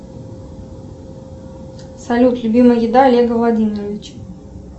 салют любимая еда олега владимировича